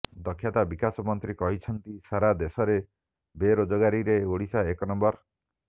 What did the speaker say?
ଦକ୍ଷତା ବିକାଶ ମନ୍ତ୍ରୀ କହିଛନ୍ତି ସାରା ଦେଶରେ ବେରୋଜଗାରୀରେ ଓଡ଼ିଶା ଏକ ନମ୍ବର